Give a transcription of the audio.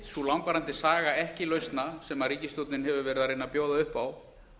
sú langvarandi saga ekki lausna sem ríkisstjórnin hefur verið að reyna að bjóða upp á